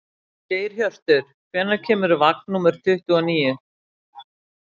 Geirhjörtur, hvenær kemur vagn númer tuttugu og níu?